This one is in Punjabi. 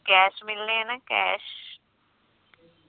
cash ਮਿਲਣੇ ਨੇ cash